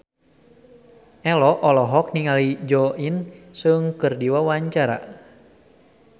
Ello olohok ningali Jo In Sung keur diwawancara